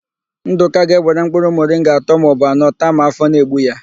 Ndụka ga-ewere mkpụrụ mọringa atọ maọbụ anọ taa ma áfọ̀ na-egbu ya.